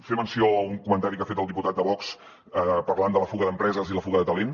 fer menció a un comentari que ha fet el diputat de vox parlant de la fuga d’empreses i la fuga de talent